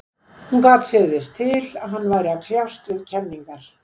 Hún gat sér þess til, að hann væri að kljást við kenningar